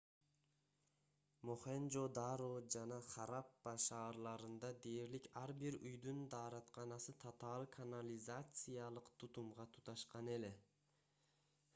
мохенжо-даро жана хараппа шаарларында дээрлик ар бир үйдүн дааратканасы татаал канализациялык тутумга туташкан эле